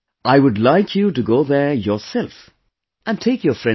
I would like you to go there yourself and take your friends along